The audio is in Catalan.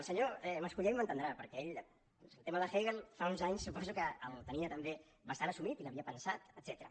el senyor mas·colell m’entendrà perquè ell el tema de hegel fa uns anys suposo que el tenia també bastant assumit i hi havia pensat etcètera